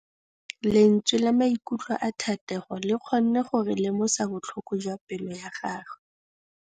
Lentswe la maikutlo a Thategô le kgonne gore re lemosa botlhoko jwa pelô ya gagwe.